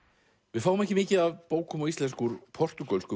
við fáum ekki mikið af bókum á íslensku úr portúgölsku